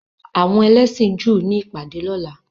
Àwọn ẹlẹ́sìn Júù ni ìpàdé ní ọ̀la.